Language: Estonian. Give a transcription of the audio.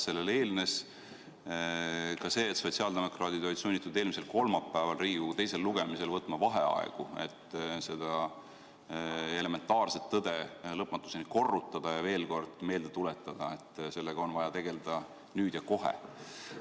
Sellele eelnes ka see, et sotsiaaldemokraadid olid sunnitud eelmisel kolmapäeval Riigikogus riigieelarve teisel lugemisel võtma vaheaegu, et seda elementaarset tõde lõpmatuseni korrutada ja veel kord meelde tuletada, et sellega on vaja tegeleda nüüd ja kohe.